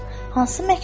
"Hansı məktubu?